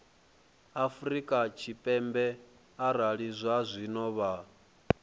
afrika tshipembe arali zwazwino vha